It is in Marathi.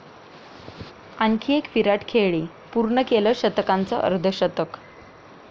आणखी एक 'विराट' खेळी, पूर्ण केलं शतकांचं अर्धशतक!